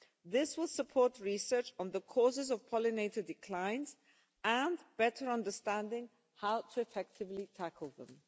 This will support research on the causes of pollinator declines and better understanding on how to effectively tackle them.